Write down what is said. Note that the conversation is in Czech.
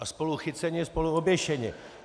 A spolu chyceni, spolu oběšeni.